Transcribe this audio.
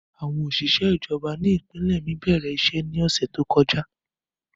Àwọn oṣiṣẹ ijọba ni ipinlẹ mi bẹrẹ iṣẹ ni ọsẹ to kọja.